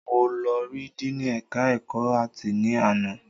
Mo lọ ri Díìnì ẹ̀ka ẹ̀kọ́ áàtì ni àná